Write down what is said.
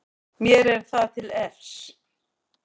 Mér er það til efs.